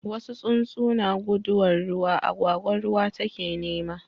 wasu tsuntsu na guduwan ruwa, agwagwa ruwa ta ke nema